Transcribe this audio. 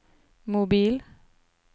mobil